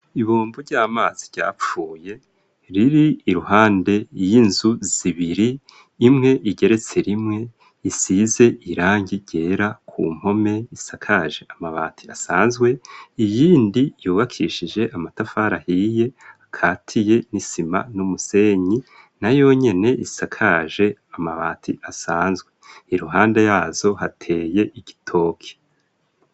Ibumvu ry'amazi ryapfuye riri iruhande y'inzu zibiri imwe igeretse rimwe isize irangi ryera ku mpome isakaje amabati asanzwe iyindi yubakishije amatafarahiye akatiye n'isima n'umusenyi na yonyene isakaje amabati asanzwe iruhande yazo hateye igitoki.